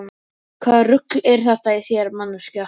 Hvaða rugl er þetta í þér manneskja!